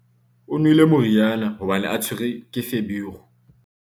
o nwele moriana hobane a tshwerwe ke feberu